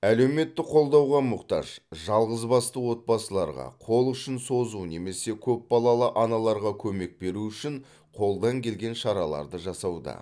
әлеуметтік қолдауға мұқтаж жалғызбасты отбасыларға қол ұшын созу немесе көпбалалы аналарға көмек беру үшін қолдан келген шараларды жасауда